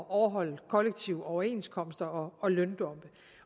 at overholde kollektive overenskomster og løndumpe